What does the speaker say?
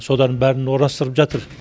содардың барын орастырып жатыр